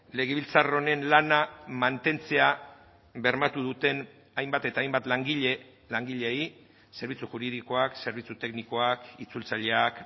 legebiltzar honen lana mantentzea bermatu duten hainbat eta hainbat langile langileei zerbitzu juridikoak zerbitzu teknikoak itzultzaileak